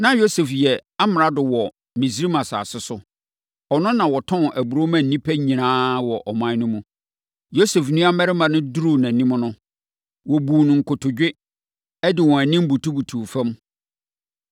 Na Yosef yɛ amrado wɔ Misraim asase so. Ɔno na ɔtɔn aburoo ma nnipa nyinaa wɔ ɔman no mu. Yosef nuammarima no kɔduruu nʼanim no, wɔbuu no nkotodwe, de wɔn anim nso butubutuu fam.